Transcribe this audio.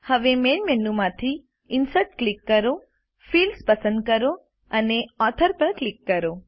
હવેMain menu માંથીInsert click કરો fields પસંદ કરો અને ઓથોર પર ક્લિક કરો